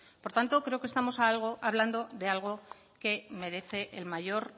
por tanto creo que estamos hablando de algo que merece el mayor